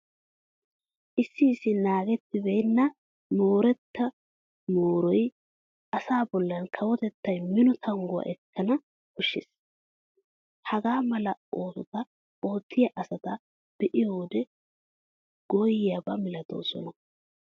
Issi issi naagettibeenna moorota mooriya asaa bollan kawotettay minno tangguwa ekkana koshshees. Hagaa mala oosota oottiya asata be'iyo wode gooyyiyaba malatoosona.